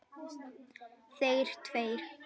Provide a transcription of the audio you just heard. Þeir tveir.